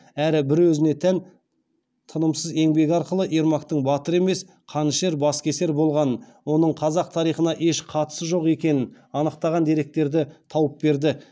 әрі бір өзіне тән тынымсыз еңбегі арқылы ермактың батыр емес қанішер баскесер болғанын оның қазақ тарихына еш қатысы жоқ екенін анықтаған деректерді тауып берді